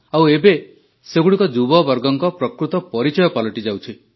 ଆଉ ଏବେ ସେଗୁଡ଼ିକ ଯୁବବର୍ଗଙ୍କ ପ୍ରକୃତ ପରିଚୟ ପାଲଟିଯାଉଛି